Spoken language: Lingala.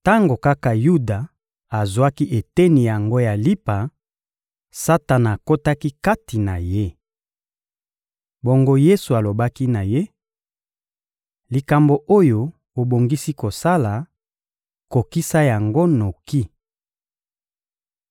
Tango kaka Yuda azwaki eteni yango ya lipa, Satana akotaki kati na ye. Bongo Yesu alobaki na ye: — Likambo oyo obongisi kosala, kokisa yango noki.